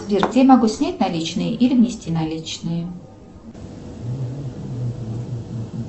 сбер где я могу снять наличные или внести наличные